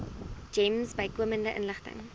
gems bykomende inligting